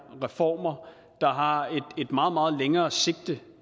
reformer der har et meget meget længere sigte